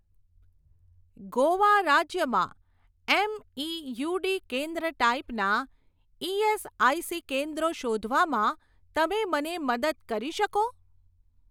ગોવા રાજ્યમાં એમઇયુડી કેન્દ્ર ટાઈપનાં ઇએસઆઇસી કેન્દ્રો શોધવામાં તમે મને મદદ કરી શકો?